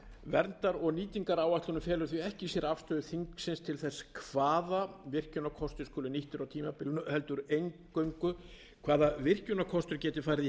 verndar og nýtingaráætlunin felur því ekki í sér afstöðu þingsins til þess hvaða virkjunarkostir skulu nýttir á tímabilinu heldur eingöngu hvaða virkjunarkostir geti farið í